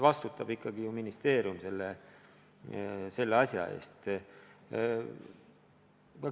Vastutab ikkagi ju ministeerium selle asja eest.